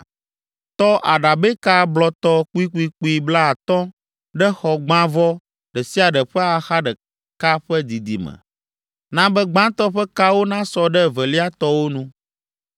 Tɔ aɖabɛka blɔtɔ kpuikpuikpui blaatɔ̃ ɖe xɔgbãvɔ ɖe sia ɖe ƒe axa ɖeka ƒe didime, na be gbãtɔ ƒe kawo nasɔ ɖe evelia tɔwo nu.